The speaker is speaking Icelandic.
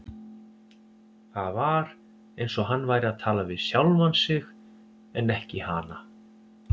Það var eins og hann væri að tala við sjálfan sig en ekki hana.